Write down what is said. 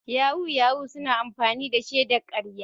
Yahoo yahoo suna amfani da shaidar karya.